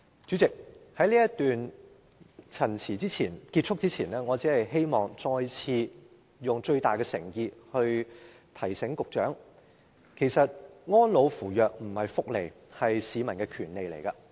主席，在這次發言結束前，我希望再次以最大的誠意提醒局長，其實安老扶弱並非福利，而是市民的權利。